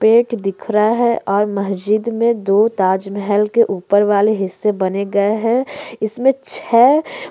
पेट दिखा रहा है और मस्जिद मे दो ताज महल के ऊपर वाले हिस्से बने गए हैं इसमें छे --